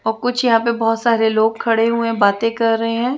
अब कुछ यहाँ पर बहोत सारे लोग खड़े हुए हैं बाते कर रहे है।